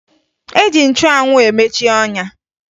E ji nchụanwụ emeche ọnya